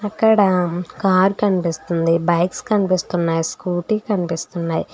అక్కడ కార్ కనిపిస్తుంది బైక్స్ కనిపిస్తున్నాయి స్కూటీ కనిపిస్తున్నాయి.